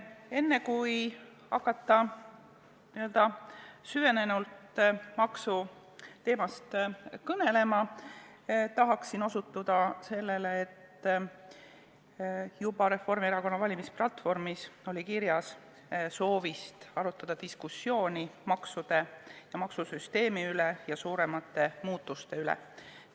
Enne kui hakata süvenenult maksuteemast kõnelema, tahan osutada sellele, et juba Reformierakonna valimisplatvormis oli kirjas soov alustada diskussiooni maksude ja maksusüsteemi üle, suuremate muutuste üle selles.